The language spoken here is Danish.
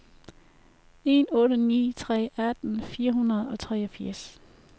en otte ni tre atten fire hundrede og treogfirs